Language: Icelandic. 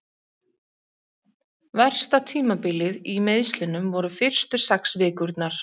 Versta tímabilið í meiðslunum voru fyrstu sex vikurnar.